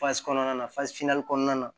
kɔnɔna na kɔnɔna na